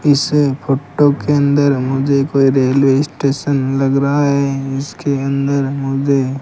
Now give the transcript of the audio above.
इस फोटो के अंदर मुझे कोई रेलवे स्टेशन लग रहा है इसके अंदर मुझे --